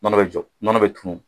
Nɔnɔ bɛ jɔ , nɔnɔ bɛ cun.